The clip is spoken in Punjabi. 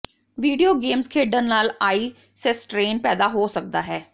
ਵੀਡੀਓ ਗੇਮਜ਼ ਖੇਡਣ ਨਾਲ ਆਈ ਸੇਸਟ੍ਰੇਨ ਪੈਦਾ ਹੋ ਸਕਦਾ ਹੈ